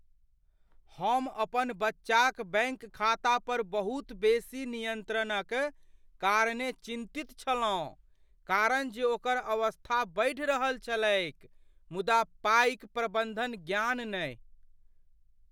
हम अपन बच्चाक बैंक खाता पर बहुत बेसी नियन्त्रणक कारणे चिन्तित छलहुँ कारण जे ओकर अवस्था बढ़ि रहल छलैक मुदा पाइक प्रबन्धन ज्ञान नहि।